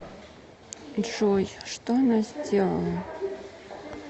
джой что она сделала